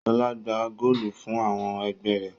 Ṣọ́lá gbá góólù fún àwọn ẹgbẹ́ rẹ̀?